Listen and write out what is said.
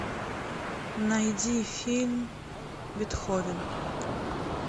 найди фильм бетховен